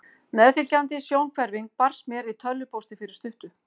Meðfylgjandi sjónhverfing barst mér í tölvupósti fyrir stuttu.